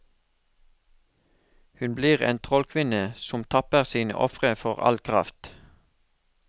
Hun blir en trollkvinne som tapper sine ofre for all kraft.